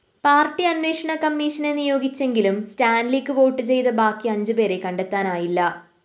party അന്വേഷണക്കമ്മീഷനെ നിയോഗിച്ചെങ്കിലും സ്റ്റാന്‍ലിക്ക് വോട്ടുചെയ്ത ബാക്കി അഞ്ചുപേരെ കണ്ടെത്താനായില്ല